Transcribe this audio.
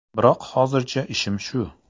Biroq hozircha ishim shu.